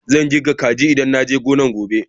Zan kirga kaji idan na je gonan gobe.